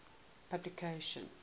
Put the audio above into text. publication